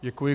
Děkuji.